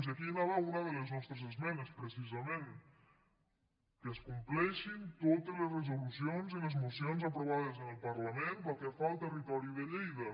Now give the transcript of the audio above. i aquí anava una de les nostres esmenes precisament que es complei·xin totes les resolucions i les mocions aprovades en el parlament pel que fa al territori de lleida